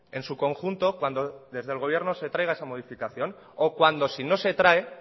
en su conjunto cuando desde el gobierno se traiga esa modificación o cuando si no se trae